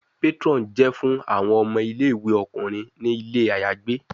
Patron jẹ fun awọn ọmọ ile-iwe ọkunrin ni ile ayagbe